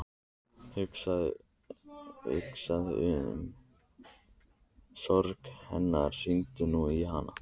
Hugsaðu um sorg hennar, hringdu nú í hana.